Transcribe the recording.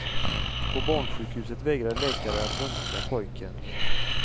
På barnsjukhuset vägrade läkare att röntga pojken.